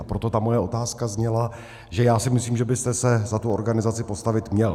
A proto ta moje otázka zněla, že já si myslím, že byste se za tu organizaci postavit měl.